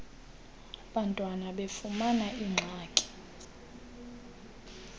bantwana befumana iingxaki